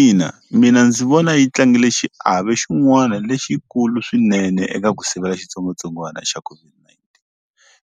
Ina mina ndzi vona yi tlangile xiave xin'wana lexikulu swinene eka ku sivela xitsongwatsongwana xa COVID-19